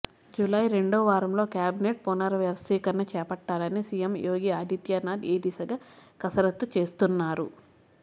July రెండో వారంలోగా cabinet పునర్వ్యవస్థీకరణ చేపట్టాలని సీఎం యోగి ఆదిత్యానాథ్ ఈ దిశగా కసరత్తు చేస్తున్నారు